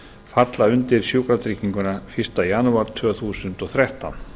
falla undir sjúkratrygginguna fyrsta janúar tvö þúsund og þrettán